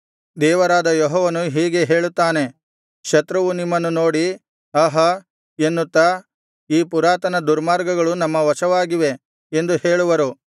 ದೇವರಾದ ಯೆಹೋವನು ಹೀಗೆ ಹೇಳುತ್ತಾನೆ ಶತ್ರುವು ನಿಮ್ಮನ್ನು ನೋಡಿ ಆಹಾ ಎನ್ನುತ್ತಾ ಈ ಪುರಾತನ ದುರ್ಗಗಳು ನಮ್ಮ ವಶವಾಗಿವೆ ಎಂದು ಹೇಳುವರು